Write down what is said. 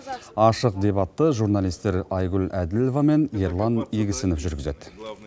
ашық дебатты журналистер айгүл әділова мен ерлан игісінов жүргізеді